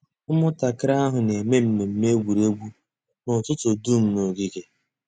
Ụ́mụ̀ntàkìrì àhụ̀ nà-èmé mmẹ̀mmẹ̀ ègwè́ré́gwụ̀ n'ụ́tụ̀tụ̀ dùm n'ògìgè.